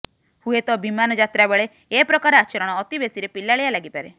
ହୁଏତ ବିମାନ ଯାତ୍ରାବେଳେ ଏପ୍ରକାର ଆଚରଣ ଅତିବେଶିରେ ପିଲାଳିଆ ଲାଗିପାରେ